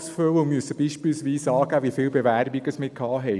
So werden wir beispielsweise gefragt, wie viele Bewerbungen eingegangen sind.